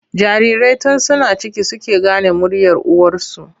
Jarirai tun suna ciki suke gane muryar uwarsu.